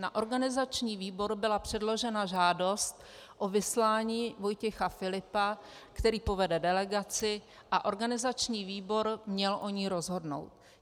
Na organizační výbor byla předložena žádost o vyslání Vojtěcha Filipa, který povede delegaci, a organizační výbor měl o ní rozhodnout.